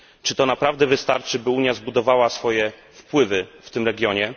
Czy to naprawdę wystarczy, by Unia zbudowała swoje wpływy w tym regionie?